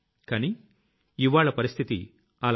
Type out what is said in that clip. కానీ ఇవ్వాళ్ల పరిస్థితి అలా లేదు